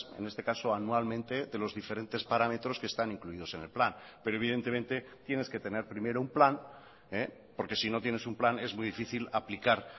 en este caso anualmente de los diferentes parámetros que están incluidos en el plan pero evidentemente tienes que tener primero un plan porque sino tienes un plan es muy difícil aplicar